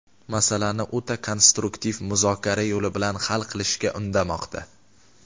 masalani o‘ta konstruktiv muzokara yo‘li bilan hal qilishga undamoqda.